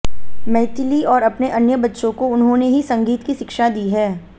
मैथिली और अपने अन्य बच्चों को उन्होंने ही संगीत की शिक्षा दी है